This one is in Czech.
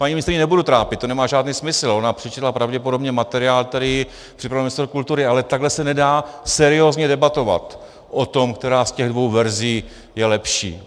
Paní ministryni nebudu trápit, to nemá žádný smysl, ona přečetla pravděpodobně materiál, který připravil ministr kultury, ale takhle se nedá seriózně debatovat o tom, která z těch dvou verzí je lepší.